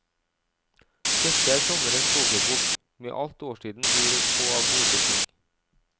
Dette er sommerens kokebok, med alt årstiden byr på av gode ting.